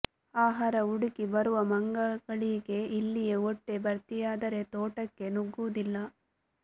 ಆಹಾರ ಹುಡುಕಿ ಬರುವ ಮಂಗಗಳಿಗೆ ಇಲ್ಲಿಯೇ ಹೊಟ್ಟೆ ಭರ್ತಿಯಾದರೆ ತೋಟಕ್ಕೆ ನುಗ್ಗುವುದಿಲ್ಲ